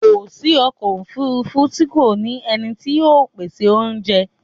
Kò sí ọkọ̀ òfúrúfú tí kò ní ẹni tí ó ń pèsè oúnjẹ.